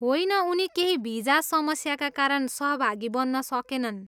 होइन, उनी केही भिजा समस्याका कारण सहभागी बन्न सकेनन्।